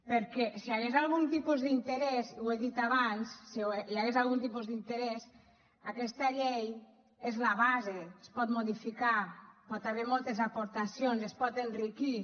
perquè si hi hagués algun tipus d’interès ho he dit abans aquesta llei és la base es pot modificar pot haver hi moltes aportacions es pot enriquir